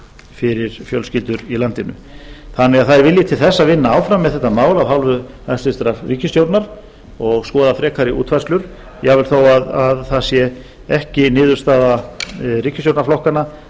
fyrir fjölskyldur í landinu það er vilji til þess að vinna áfram við þetta mál af hálfu hæstvirtrar ríkisstjórnar og skoða frekari útfærslur jafnvel þó að það sé ekki niðurstaða ríkisstjórnarflokkanna